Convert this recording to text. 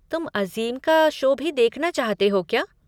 तुम अज़ीम का शो भी देखना चाहते हो क्या?